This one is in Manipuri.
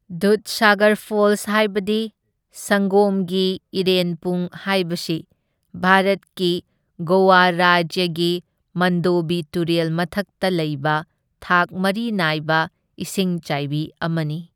ꯗꯨꯙꯁꯥꯒꯔ ꯐꯣꯜꯁ ꯍꯥꯏꯕꯗꯤ ꯁꯪꯒꯣꯝꯒꯤ ꯏꯔꯦꯟꯄꯨꯡ ꯍꯥꯏꯕꯁꯤ ꯚꯥꯔꯠꯀꯤ ꯒꯣꯋꯥ ꯔꯥꯖ꯭ꯌꯒꯤ ꯃꯟꯗꯣꯕꯤ ꯇꯨꯔꯦꯜ ꯃꯊꯛꯇ ꯂꯩꯕ ꯊꯥꯛ ꯃꯔꯤ ꯅꯥꯏꯕ ꯏꯁꯤꯡꯆꯥꯏꯕꯤ ꯑꯃꯅꯤ꯫